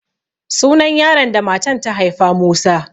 Sunan yaron da matan ta haifa Musa.